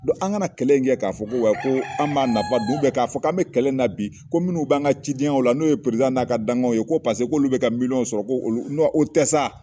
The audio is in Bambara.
an kana kɛlɛ in kɛ k'a fɔ ko ko an b'a nafa dun k'a fɔ ko an bɛ kɛlɛ in na bi ko minnu bɛ an ka cidenyaw la n'o ye n'a ka dankaw ye ko paseke k'olu bɛ ka miliyɔnw sɔrɔ ko olu o tɛ sa.